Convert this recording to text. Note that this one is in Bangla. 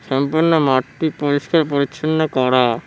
সম্পূর্ণ মাঠটি পরিষ্কার পরিচ্ছন্ন করা।